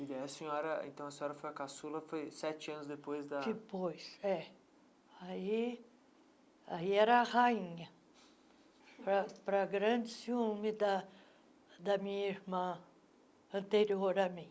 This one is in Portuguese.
E a senhora então, a senhora foi a caçula sete anos depois da... Depois, é. Aí era a rainha, para para grande ciúme da minha irmã anterior a mim.